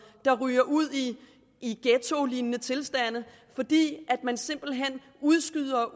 der ryger ud i ghettolignende tilstande fordi man simpelt hen udskyder